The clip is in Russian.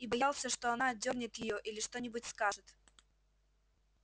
и боялся что она отдёрнет её или что нибудь скажет